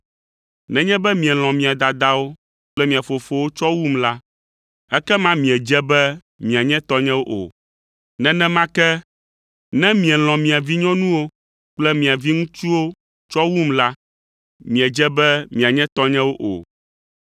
“Nenye be mielɔ̃ mia dadawo kple mia fofowo tsɔ wum la, ekema miedze be mianye tɔnyewo o, nenema ke ne mielɔ̃ mia vinyɔnuwo kple mia viŋutsuwo tsɔ wum la, miedze be mianye tɔnyewo o.